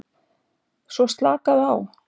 Svo slakaðu á.